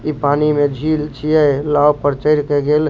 इ पानी में झील छिये नाव पे चढ़ के गेल --